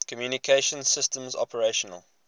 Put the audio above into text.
communication systems operational